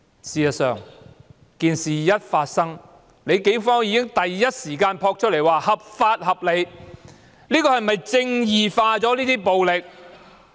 事實上，事件發生後，警方已即時發出聲明，指出這種做法合法合理，這是否"正義化"這種暴力？